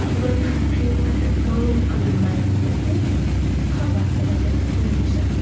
Loyiha qiymati ma’lum qilinmayapti, deb xabar beradi Meduza.